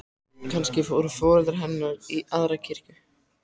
Kannski fóru foreldrar hennar í aðra kirkju.